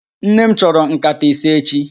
Nnem chọrọ nkata ise echi